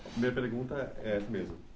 A primeira pergunta é essa mesmo.